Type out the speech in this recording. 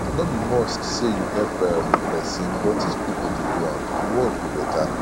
no be must say you go help um persin but if pipo de do am di world go better